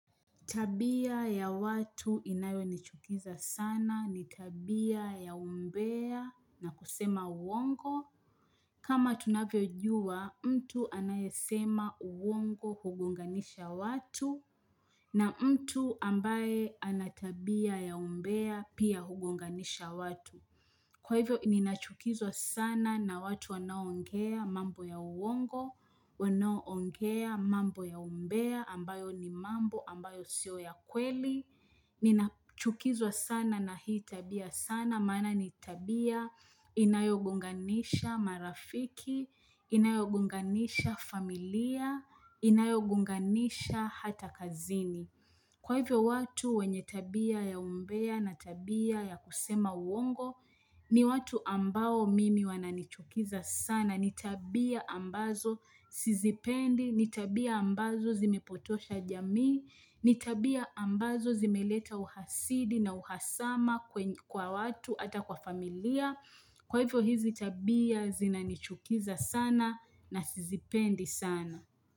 Tabia ya watu inayo nichukiza sana ni tabia ya umbeya na kusema uongo. Kama tunavyo jua, mtu anayesema uongo hugonganisha watu na mtu ambaye anatabia ya umbeya pia hugonganisha watu. Kwa hivyo, ninachukizwa sana na watu wanaoongea mambo ya uongo, wanaoongea mambo ya umbea, ambayo ni mambo, ambayo siyo ya kweli. Ninachukizwa sana na hii tabia sana, maana ni tabia inayogonganisha marafiki, inayogonganisha familia, inayogonganisha hata kazini. Kwa hivyo watu wenye tabia ya umbea na tabia ya kusema uongo, ni watu ambao mimi wananichukiza sana, nitabia ambazo sizipendi, nitabia ambazo zimepotosha jamii, nitabia ambazo zimeleta uhasidi na uhasama kwa watu ata kwa familia, kwa hivyo hizi tabia zinanichukiza sana na sizipendi sana.